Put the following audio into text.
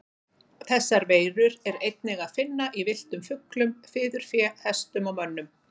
Þessar veirur er einnig að finna í villtum fuglum, fiðurfé, hestum og mönnum.